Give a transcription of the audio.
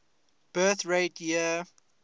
birth rate year